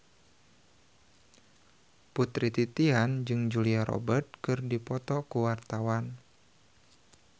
Putri Titian jeung Julia Robert keur dipoto ku wartawan